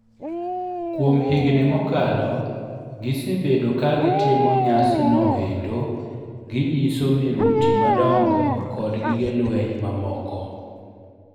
Kuom higni mokalo, gisebedo ka gitimo nyasi no endo gii nyiso miruti madongo kod gige lweny mamoko